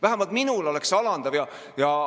Vähemalt minule oleks see alandav.